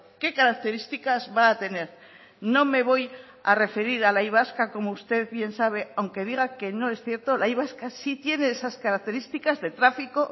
qué características va a tener no me voy a referir a la y vasca como usted bien sabe aunque diga que no es cierto la y vasca sí tiene esas características de tráfico